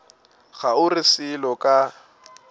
ga o re selo ka